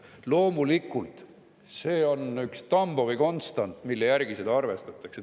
Loomulikult, see on üks Tambovi konstant, mille järgi seda arvestatakse.